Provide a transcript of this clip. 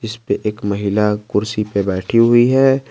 एक महिला कुर्सी पर बैठी हुई है।